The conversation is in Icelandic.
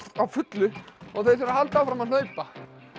á fullu og þau þurfa að halda áfram að hlaupa